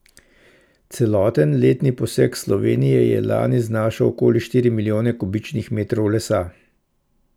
Celoten letni posek Slovenije je lani znašal okoli štiri milijone kubičnih metrov lesa.